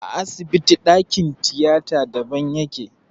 A asibiti ɗakin tiyata daban yake.